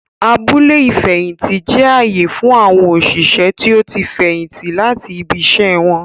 Abúlé ifẹhinti jẹ ààyè fún awọn oṣiṣẹ tí o tí fẹyìntì láti ibì iṣẹ wọn